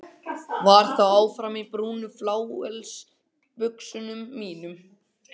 Var þó áfram í brúnu flauelsbuxunum mínum.